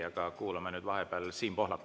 Aga kuulame vahepeal Siim Pohlakut.